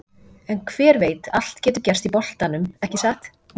En hver veit allt getur gerst í boltanum, ekki satt?